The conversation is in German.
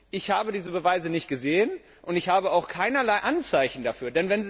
Ich habe diese Beweise nicht gesehen, und ich habe auch keinerlei Anzeichen dafür.